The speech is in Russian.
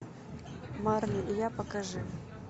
марли и я покажи